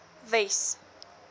wes